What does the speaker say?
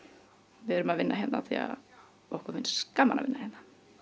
við erum að vinna hérna af því að okkur finnst gaman að vinna hérna